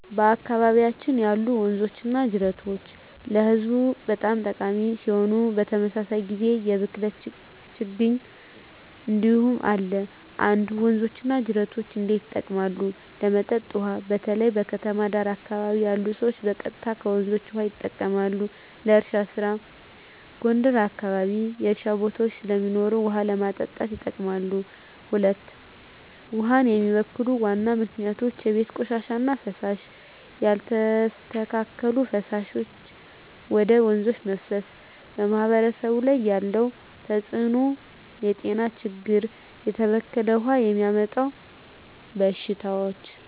በአካባቢያችን ያሉ ወንዞችና ጅረቶች ለህዝቡ በጣም ጠቃሚ ሲሆኑ፣ በተመሳሳይ ጊዜ የብክለት ችግኝ እንዲሁም አለ። 1. ወንዞች እና ጅረቶች እንዴት ይጠቀማሉ? ለመጠጥ ውሃ: በተለይ በከተማ ዳር አካባቢ ያሉ ሰዎች ቀጥታ ከወንዞች ውሃ ይጠቀማሉ። ለእርሻ ስራ: ጎንደር አካባቢ የእርሻ ቦታዎች ስለሚኖሩ ውሃ ለማጠጣት ይጠቀማሉ። 2. ውሃን የሚበክሉ ዋና ምክንያቶች የቤት ቆሻሻ እና ፍሳሽ: ያልተስተካከለ ፍሳሽ ወደ ወንዞች መፍሰስ 3. በማህበረሰብ ላይ ያለው ተጽዕኖ የጤና ችግኝ: የተበከለ ውሃ የሚያመጣው በሽታዎች